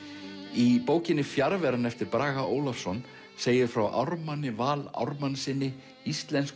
í bókinni fjarveran eftir Braga Ólafsson segir frá Ármanni Val Ármannssyni